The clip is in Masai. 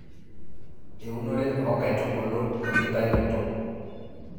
eunore oonkaitubulu we nkitainoto